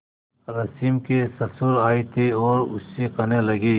रश्मि के ससुर आए थे और उससे कहने लगे